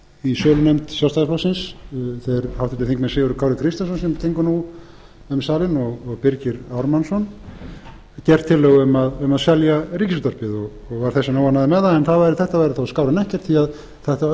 í sölunefnd sjálfstæðisflokksins þeir háttvirtir þingmenn sigurður kári kristjánsson sem gengur nú um salinn og birgir ármannsson gert tillögu um að selja ríkisútvarpið og var þess vegna óánægður með það en þetta væri þó skárra en ekkert því þetta auðveldaði söluna